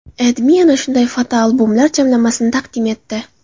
AdMe ana shunday fotobombalar jamlanmasini taqdim etdi .